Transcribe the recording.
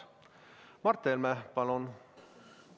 Mart Helme, palun!